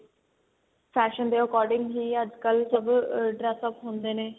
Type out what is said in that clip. fashion ਦੇ according ਹੀ ਅੱਜਕਲ ਸਭ ਆ dress up ਹੁੰਦੇ ਨੇ